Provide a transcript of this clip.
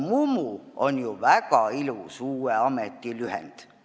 Mumu on ju väga ilus uue ameti lühend.